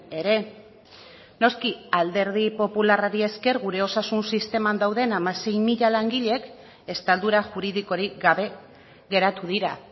ere noski alderdi popularrari esker gure osasun sisteman dauden hamasei mila langilek estaldura juridikorik gabe geratu dira